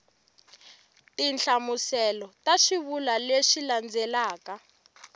tinhlamuselo ta swivulwa leswi landzelaka